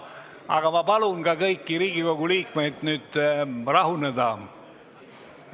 Aga ma palun kõigil Riigikogu liikmetel nüüd rahuneda!